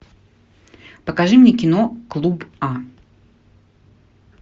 покажи мне кино клуб а